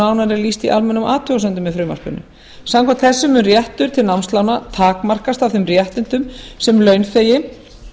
nánar er lýst í almennum athugasemdum með frumvarpinu samkvæmt þessu mun réttur til námslána takmarkast af þeim réttindum sem launþegi